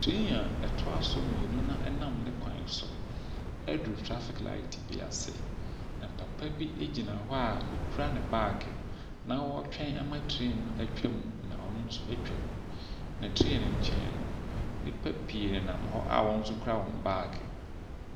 Train a ɛtoa so mmienu na ɛnam ne kwan so aduru traffic light bi ase, na papa bi gyina hɔ a ɔkura ne baage, na ɔretwa ama train no atwam na ɔno nso atwam, na train no nkyɛn no nnipa pii nenam hɔ a wɔn nso kura wɔn baage.